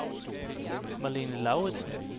Marlene Lauritsen